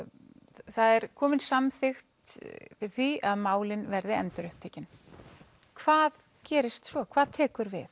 það er komin samþykkt fyrir því að málin verði endurupptekin hvað gerist svo hvað tekur við